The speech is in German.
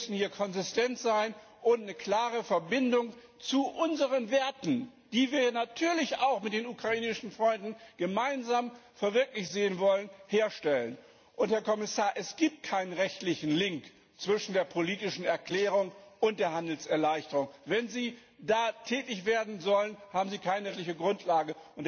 Wir müssen hier konsistent sein und eine klare Verbindung zu unseren Werten, die wir natürlich auch mit den ukrainischen Freunden gemeinsam verwirklicht sehen wollen, herstellen. Herr Kommissar, es gibt keine rechtliche Verknüpfung zwischen der politischen Erklärung und der Handelserleichterung. Wenn Sie da tätig werden sollen, haben Sie keine rechtliche Grundlage.